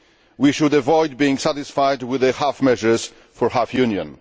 We should avoid being satisfied with half measures for a half Union.